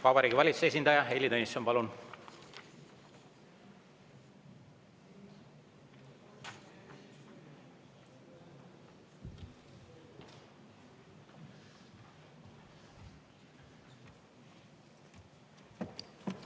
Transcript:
Vabariigi Valitsuse esindaja Heili Tõnisson, palun!